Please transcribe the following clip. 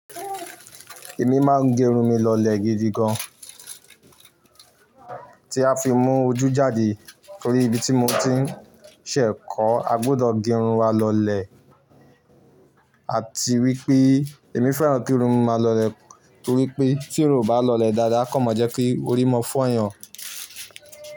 Èmi máa ń gẹrun mi lọlẹ̀ gidi gan. Tí a fi mú ojú jáde tori ibi tí mo ti ṣẹ̀ kọ́, a gbudọ̀ gẹrun wa lọlẹ̀. Àti wípé èmi fẹ́ràn kí irun mi máa lọlẹ̀ torí pé tí irun ò bá lọlẹ̀ dáadáa kan máa jẹ́ kí orí mọ́ fọ́yan.